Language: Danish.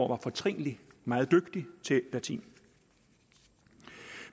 var fortrinlig meget dygtig til latin